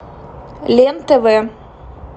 лен тв